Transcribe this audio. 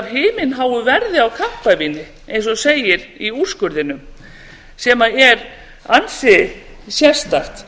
himinháu verði á kampavíni eins og segir í úrskurðinum sem er ansi sérstakt